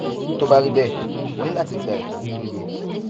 tó bá rí bẹẹ o ní láti gba ìtọjú tó yẹ